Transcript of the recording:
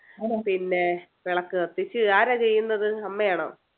പിന്നെ വിളക്ക് കത്തിച്ചു ആരാ ചെയ്യുന്നത് അമ്മയാണോ